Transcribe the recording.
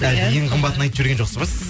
і ең қымбатын айтып жіберген жоқсыз ба сіз